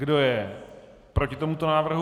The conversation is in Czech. Kdo je proti tomuto návrhu?